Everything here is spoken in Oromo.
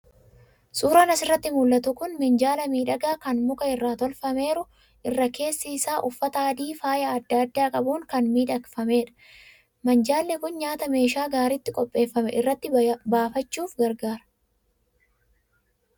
Suuraan asirratti mul'atu kun minjaala miidhagaa kan muka irraa tolfameeru, irra keessi isaa uffata adii faaya adda addaa qabuun kan miidhagfameerudha. Minjaalli kun nyaata meeshaa gaariitti qopheeffame irratti byaachuuf gargaara.